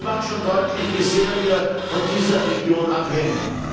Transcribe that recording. Das macht schon deutlich, wie sehr wir von dieser Region abhängen.